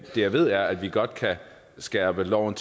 jeg ved er at vi godt kan skærpe loven